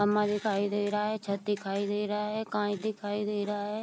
अम्मा दिखाई दे रहा है छत दिखाई दे रहा है काई दिखाई दे रहा है।